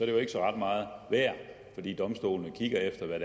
jo ikke ret meget værd fordi domstolene kigger efter hvad